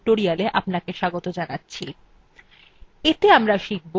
এতে আমরা শিখব